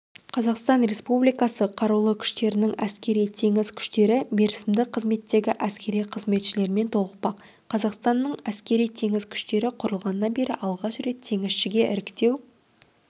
қазақстан республикасы қарулы күштерінің әскери-теңіз күштері мерзімді қызметтегі әскери қызметшілермен толықпақ қазақстанның әскери-теңіз күштері құрылғаннан бері алғаш рет теңізшіге іріктеу